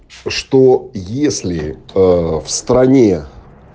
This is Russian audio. что если в стране